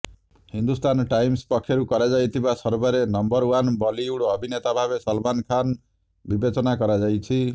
Hindustan Times ପକ୍ଷରୁ କରାଯାଇଥିବା ସର୍ଭେରେ ନମ୍ବର ଓ୍ବାନ୍ ବଲିଉଡ ଅଭିନେତା ଭାବେ ସଲମାନ୍ ଖାନ୍ ବିବେଚନା କରାଯାଇଛି